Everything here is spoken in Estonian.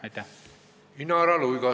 Inara Luigas, palun!